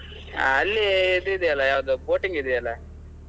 ಆ ಅಲ್ಲಿ ಅದು ಇದು ಇದ್ಯಲ್ಲ ಯಾವ್ದು boating ಇದೆಯಲ್ಲಾ.